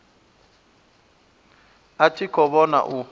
a tshi khou vhona u